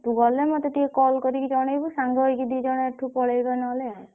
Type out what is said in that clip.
ତୁ ଗଲେ ମତେ ଟିକେ call କରିକି ଜଣେଇବୁ ସାଙ୍ଗ ହେଇକି ଏଠୁ ଦି ଜଣ ପଳେଇବା ନହେଲେ।